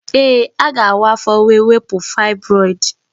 Ee, a ga-awa afọ wee wepụ fibroid.